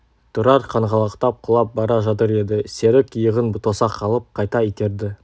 тұрар қаңғалақтап құлап бара жатыр еді серік иығын тоса қалып қайта итерді